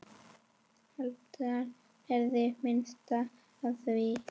Hálfdán heyrði minnst af því.